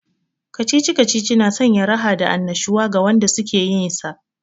Kacici-kacici na sanya raha da annashuwa ga wanda suke yinsa